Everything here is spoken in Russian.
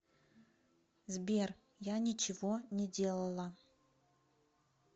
сбер я ничего не делала